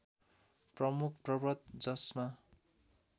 प्रमुख पर्वत जसमा